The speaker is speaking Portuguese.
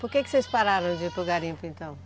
Por que vocês pararam de ir para o garimpo, então?